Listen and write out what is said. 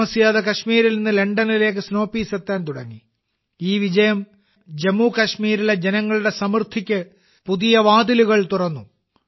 താമസിയാതെ കാശ്മീരിൽ നിന്ന് ലണ്ടനിലേക്ക് സ്നോ പീസ് എത്താൻ തുടങ്ങി ഈ വിജയം ജമ്മു കാശ്മീരിലെ ജനങ്ങളുടെ സമൃദ്ധിക്ക് പുതിയ വാതിലുകൾ തുറന്നു